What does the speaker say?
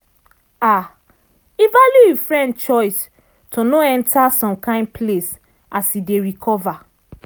um e value e friend choice to no enta some kain place as e dey recover